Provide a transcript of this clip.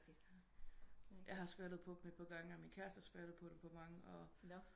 Ja har skvattet på dem et par gange og min kæreste har skvattet på dem et par gange